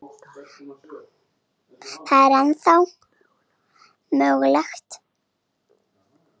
Það er ennþá mögulegt.